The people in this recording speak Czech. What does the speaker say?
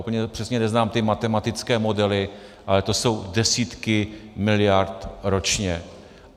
Úplně přesně neznám ty matematické modely, ale jsou to desítky miliard ročně.